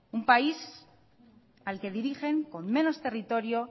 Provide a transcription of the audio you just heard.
un país al que dirigen con menos territorio